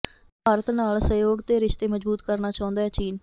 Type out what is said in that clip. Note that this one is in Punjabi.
ਭਾਰਤ ਨਾਲ ਸਹਿਯੋਗ ਤੇ ਰਿਸ਼ਤੇ ਮਜ਼ਬੂਤ ਕਰਨਾ ਚਾਹੁੰਦੈ ਚੀਨ